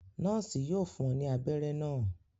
Nọọsi yóò fún ọ ní abéré náa